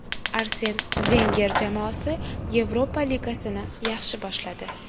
Arsen Venger jamoasi Yevropa Ligasini yaxshi boshladi.